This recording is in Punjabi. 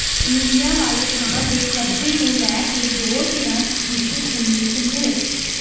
ਰੂੜੀਆਂ ਵਾਲੇ ਥਾਂ ਦੇ ਕਬਜ਼ੇ ਨੂੰ ਲੈ ਕੇ ਦੋ ਧਿਰਾਂ ਵਿੱਚ ਖ਼ੂਨੀ ਸੰਘਰਸ਼